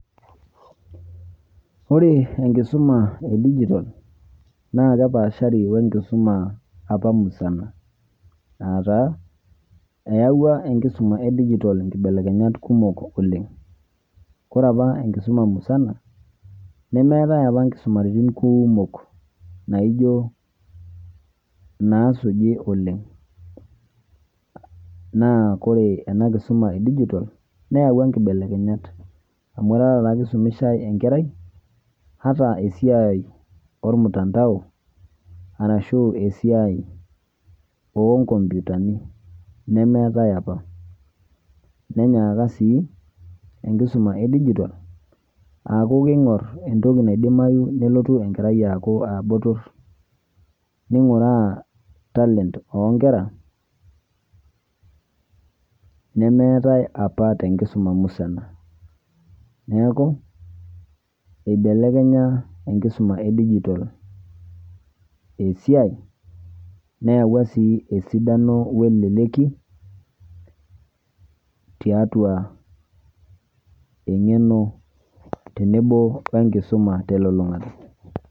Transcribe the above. Ore enkisuma edigitol naakepaashari oenkisuma apa musana. Aataa eawua enkisuma edigitol nkibelekenyat kumok oleng'. Kore apa enkisuma musana nemeetai apa inkisumaritin kuumok naijo naasuji oleng'. Naa kore ena kisuma edigitol neawua nkibelekenyat amu tatake eisumishai enkerai hata esiai olmutandao arashu esiai onkompyutani nemeetai apa. Nenyaaka sii enkisuma edigitol aaku keing'orr entoki naidimayu nelotu enkerai aaku aabotorr. Neing'ueaa talent oonkera nemeetai apa tenkisuma musana. Neaku, eibelekenya enkisuma edigitol esiai neawua sii esidano oeleleki tiatua eng'eno tenebo oenkisuma telulung'ata.